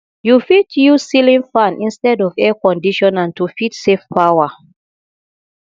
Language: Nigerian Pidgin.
you fit use ceiling fan istead of air conditioner to fit save power